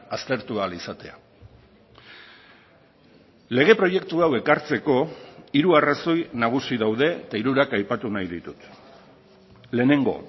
aztertu ahal izatea lege proiektu hau ekartzeko hiru arrazoi nagusi daude eta hirurak aipatu nahi ditut lehenengo